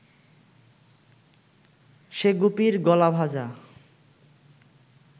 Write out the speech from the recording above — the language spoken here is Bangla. সে গুপির গলা ভাঁজা